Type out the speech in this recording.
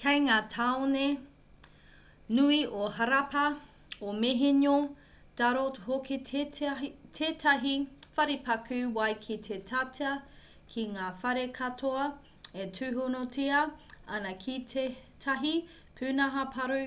kei ngā tāone nui o harappa o mohenjo-daro hoki tētahi wharepaku wai ki te tata ki ngā whare katoa e tūhonotia ana ki tētahi pūnaha paru